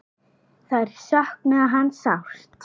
Þær söknuðu hans sárt.